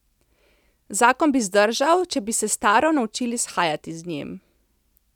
Zakon bi zdržal, če bi se s Taro naučili shajati z njim.